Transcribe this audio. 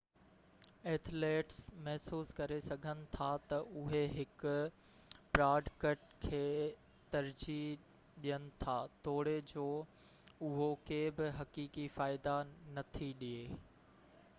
athletes محسوس ڪري سگھن ٿا ته اهي هڪ پراڊڪٽ کي ترجيح ڏين ٿا توڙي جو اهو ڪي به حقيقي فائدا نٿي ڏئي